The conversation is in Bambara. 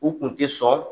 U kun tɛ sɔn